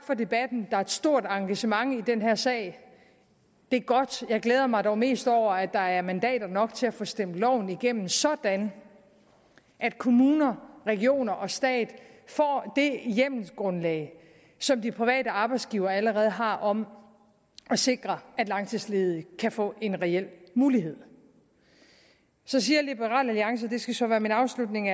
for debatten der er et stort engagement i den her sag det er godt jeg glæder mig dog mest over at der er mandater nok til at få stemt loven igennem sådan at kommuner regioner og stat får det hjemmelsgrundlag som de private arbejdsgivere allerede har om at sikre at langtidsledige kan få en reel mulighed så siger liberal alliance det skal så være min afslutning